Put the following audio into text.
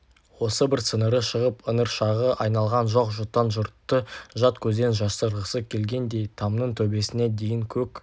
осы бір сіңірі шығып ыңыршағы айналған жоқ-жұтаң жұртты жат көзден жасырғысы келгендей тамның төбесіне дейін көк